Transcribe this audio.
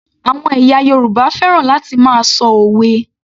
Àwọn ẹ̀yà Yorùbá fẹ́ràn láti máa ṣọ òwe